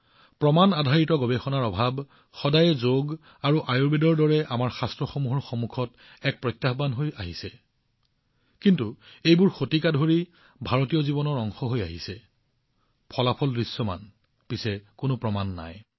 যোগ আৰু আয়ুৰ্বেদৰ দৰে আমাৰ শাস্ত্ৰৰ সন্দৰ্ভত প্ৰমাণ আধাৰিত গৱেষণাৰ অভাৱ সদায়ে এক প্ৰত্যাহ্বান হৈ আহিছে যি শতিকা ধৰি ভাৰতীয় জীৱনৰ অংশ হৈ আহিছে ফলাফল দৃশ্যমান কিন্তু প্ৰমাণ নাই